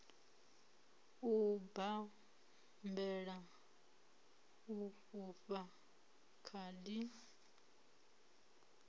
u bammbela u fhufha khadi